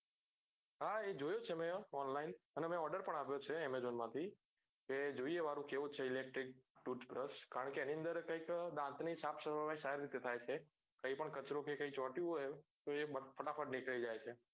હા એ જોયું છે મેં online અને મેં order પણ આપ્યો છે amazon માં થી એ જોઈએ વરુ કેવો છે electric toothbrush કારણ કે એની અંદર કઈક દાંત ની સાફ સફાઈ કઈક સારી રીતે થાય છે કઈ પણ કચરો કે કઈ ચોટ્હોયુંય તો એ ફટાફટ નીકળી જાય છે